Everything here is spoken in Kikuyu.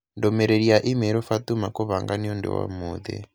ndũmĩrĩri ya i-mīrū Fatuma kũbanga nĩ ũndũ wa ũmũthĩ